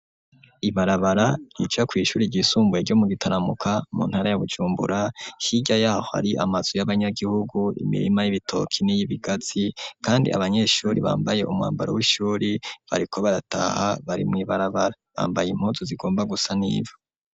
Ibarabara rica kw'ishuri ryisumbuye ryo mu Gitaramuka mu ntara ya Bujumbura hirya yaho hari amazu y'abanyagihugu imirima y'ibitoki niyi bigatsi kandi abanyeshuri bambaye umwambaro w'ishuri bariko barataha bari mw'ibarabara bambaye impuzu zigomba gusa n'ivu.